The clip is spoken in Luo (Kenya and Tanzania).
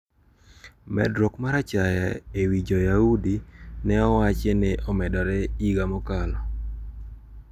Medruok mar achaya e wi Joyaudi ne owachi ni omedore higa mokalo.